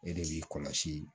E de b'i kɔlɔsi